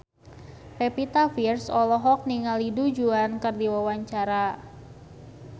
Pevita Pearce olohok ningali Du Juan keur diwawancara